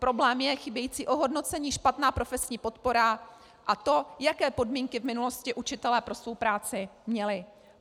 Problém je chybějící ohodnocení, špatná profesní podpora a to, jaké podmínky v minulosti učitelé pro svou práci měli.